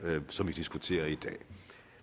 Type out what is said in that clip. som vi diskuterer i dag